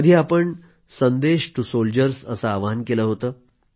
कधी आपण संदेश टू सोल्जर्सअसं आवाहन केलं होतं